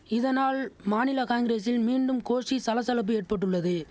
இதனால் மாநில காங்கிரசில் மீண்டும் கோஷ்டி சலசலப்பு ஏற்பட்டுள்ளது